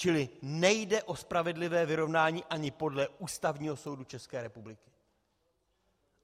Čili nejde o spravedlivé vyrovnání ani podle Ústavního soudu České republiky.